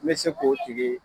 N bɛ se k'o tigi